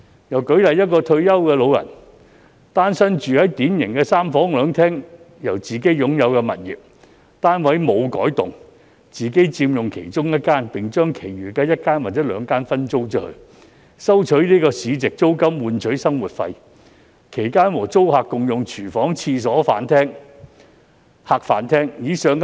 又舉例，一名住在典型三房兩廳自置物業的單身退休老人，未有改動其單位，自己佔用其中一間房間而將其餘一間或兩間分租，以收取市值租金作為生活費，其間和租客共用廚房、廁所及客、飯廳。